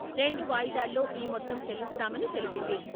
రెండు వాయిదాల్లో ఈ మొత్తం చెల్లిస్తామని తెలిపింది.